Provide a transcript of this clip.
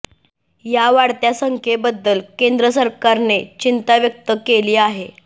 या वाढत्या संख्येबद्दल केंद्र सरकारने चिंता व्यक्त केली आहे